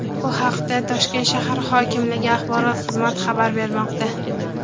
Bu haqda Toshkent shahar hokimligi axborot xizmati xabar bermoqda.